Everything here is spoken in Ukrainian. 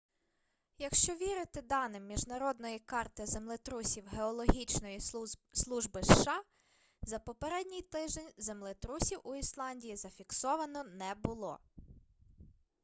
якщо вірити даним міжнародної карти землетрусів геологічної служби сша за попередній тиждень землетрусів у ісландії зафіксовано не було